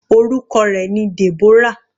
Orúkọ rẹ̀ ni Deborah.